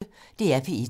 DR P1